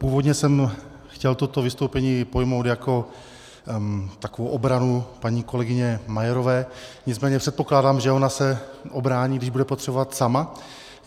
Původně jsem chtěl toto vystoupení pojmout jako takovou obranu paní kolegyně Majerové, nicméně předpokládám, že ona se ubrání, když bude potřebovat, sama.